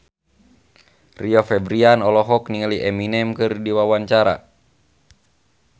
Rio Febrian olohok ningali Eminem keur diwawancara